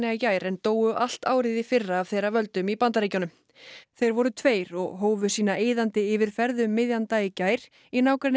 í gær en dóu allt árið í fyrra af þeirra völdum í Bandaríkjunum fellibyljirnir voru tveir og hófu sína eyðandi yfirferð um miðjan dag í gær í nágrenni